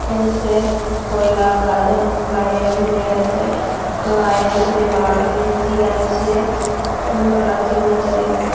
উম সে তোয়লা গায়ে গায়ে উড়ে আছে লাইট জ্বলছে বা এ .সি. আছে সুন্দর লাগছে রুমটা দেখতে।